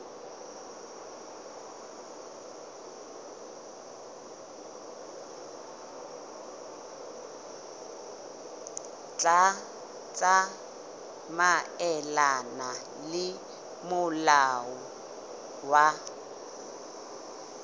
tla tsamaelana le molao wa